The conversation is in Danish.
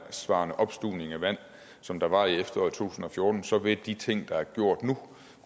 opstuvning af vand som der var i to tusind og fjorten så vil de ting der er gjort nu